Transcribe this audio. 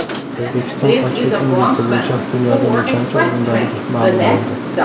O‘zbekiston ochlik indeksi bo‘yicha dunyoda nechanchi o‘rindaligi ma’lum bo‘ldi.